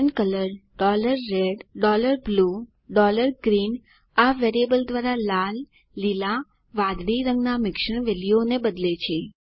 pen colour red blue and greenઆ variable દ્વારા લાલ લીલા વાદળી રંગના મિશ્રણ વેલ્યુઓને બદલે છે